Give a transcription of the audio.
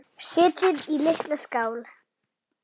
Setjið í litla skál.